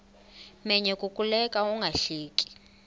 menyo kukuleka ungahleki